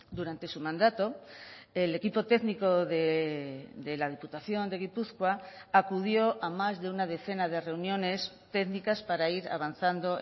durante su mandato el equipo técnico de la diputación de gipuzkoa acudió a más de una decena de reuniones técnicas para ir avanzando